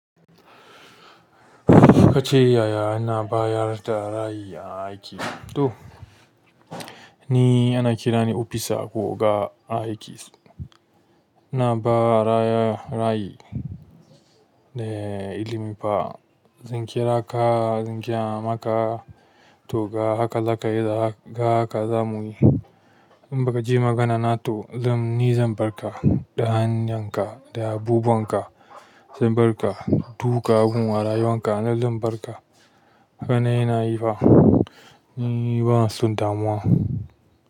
Kace yaya ina bayar da rayi a aiki to ni ana kirani opisa ko oga dan aikis ina ba raya rayi de ilimi fa. Zan kira ka, zan geya maka to ga haka za ka yi da haka za mu yi. In baka ji magana na to ni zan bar ka da hanyar ka da abubuwan ka zan barka dukawa gun abubuwan rayuwarka a nan zar bar ka haka ne ina yi fa, ni bana son damuwa.